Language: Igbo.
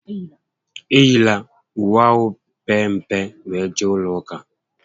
Eyila uwe ahụ mpempe were jee ụlọ ụka!